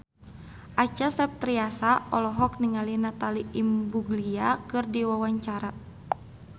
Acha Septriasa olohok ningali Natalie Imbruglia keur diwawancara